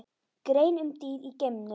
Grein um dýr í geimnum